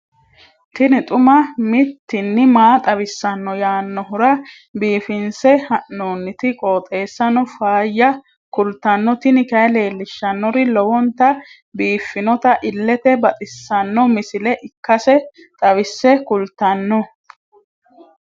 tini xuma mtini maa xawissanno yaannohura biifinse haa'noonniti qooxeessano faayya kultanno tini kayi leellishshannori lowonta biiffinota illete baxissanno misile ikkase xawisse kultanno.